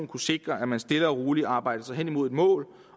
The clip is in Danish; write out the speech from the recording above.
kunne sikre at man stille og roligt arbejder sig hen imod et mål